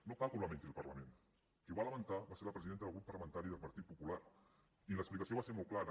no cal que ho lamenti el parlament qui ho va lamentar va ser la presidenta del grup parlamentari del partit popular i l’explicació va ser molt clara